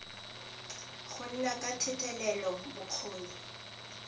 go nna ka thetelelo bokgoni